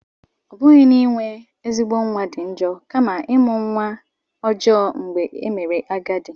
Ọ bụghị na inwe ezigbo nwa dị njọ, kama ịmụ nwa ọjọọ mgbe i mere agadi.